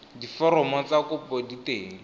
diforomo tsa kopo di teng